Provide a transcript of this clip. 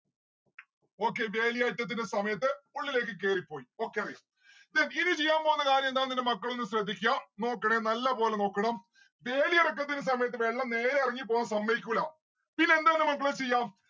okay വേലിയേറ്റത്തിന്റെ സമയത്ത് ഉള്ളിലേക്ക് കേറിപ്പോയി. then ഇനി ചെയ്യാൻ പോകുന്ന കാര്യം എന്താണ് എന്ന് എന്റെ മക്കളൊന്ന് ശ്രദ്ധിക്ക്യാ. നോക്കണേ നല്ല പോലെ നോക്കണം വേലിയേറക്കത്തിന് സമയത്ത് വെള്ളം നേരെ ഇറങ്ങിപ്പോവാൻ സമ്മയിക്കൂലാ പിന്നെന്താണ് മക്കളെ ചെയ്യാ